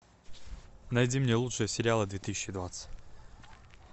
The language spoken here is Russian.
найди мне лучшие сериалы две тысячи двадцать